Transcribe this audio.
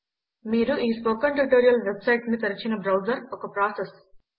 మీరు ఈ spoken tutorial website ను తెరచిన బ్రౌజర్ ఒక ప్రాసెస్